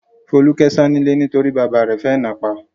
Folúkẹ́ sá nílé nítorí bàbá rẹ̀ fẹ́ náà pa.